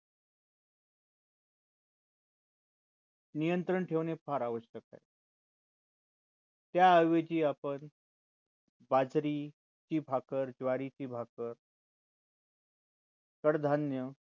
नियंत्रण ठेवणे फार आवश्यक आहे त्या ऐवजी आपण बाजरी ची भाकर, ज्वारी ची भाकर कडधान्य